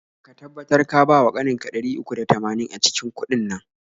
Ka tabbatar ka bawa ƙaninka ɗari uku da tamanin a cikin udin nan.